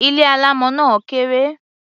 Ilé alámọ̀ náà kéré.